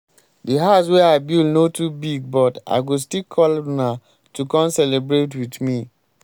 di house wey i build no too big but i go still call una to come celebrate with me.